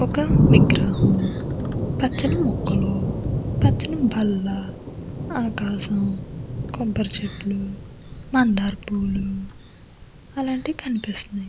ఒక విగ్రహం పచ్చని మొక్కలు పచ్చని బల్ల ఆకాశం కొబ్బరి చెట్లు మందార పూలు అలాంటివి కనిపిస్తూ న్నాయి.